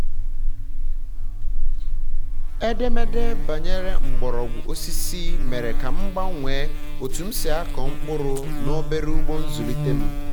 edemede banyere mgbọrọgwụ osisi mere um ka m gbanwee otu m si akọ mkpụrụ na obere ugbo nzulite m um